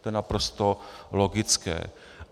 To je naprosto logické.